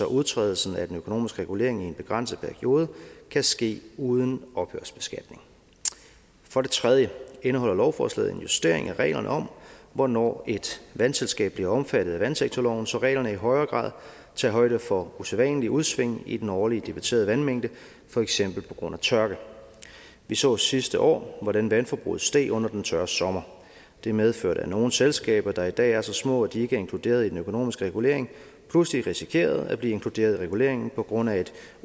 udtrædelsen af den økonomiske regulering i en begrænset periode kan ske uden ophørsbeskatning for det tredje indeholder lovforslaget en justering af reglerne om hvornår et vandselskab bliver omfattet af vandsektorloven så reglerne i højere grad tager højde for usædvanlige udsving i den årlige debiterede vandmængde for eksempel på grund af tørke vi så sidste år hvordan vandforbruget steg under den tørre sommer og det medførte at nogle selskaber der i dag er så små at de ikke er inkluderet i den økonomiske regulering pludselig risikerede at blive inkluderet i reguleringen på grund af et